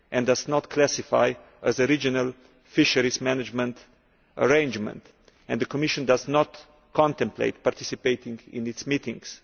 It is not classified as a Regional Fisheries Management Arrangement and the Commission does not contemplate participating in its meetings.